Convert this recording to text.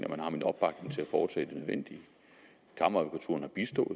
at man har min opbakning til at foretage det nødvendige kammeradvokaturen har bistået